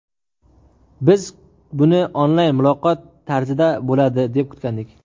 Biz buni onlayn muloqot tarzida bo‘ladi, deb kutgandik.